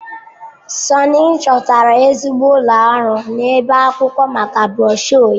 Sunny chọtara ezigbo ụlọ ọrụ na-ebi akwụkwọ maka broshuọ ya.